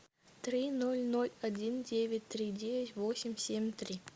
три ноль ноль один девять три девять восемь семь три